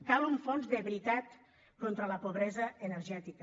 cal un fons de veritat contra la pobresa energètica